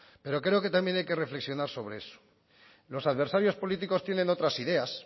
pero creo que también hay que reflexionar sobre eso los adversarios políticos tienen otras ideas